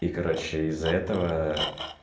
и короче из-за этого